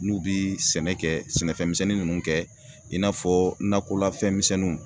N'u bi sɛnɛ kɛ sɛnɛfɛn misɛnnin nunnu kɛ i n'a fɔ nakɔlafɛn misɛnninw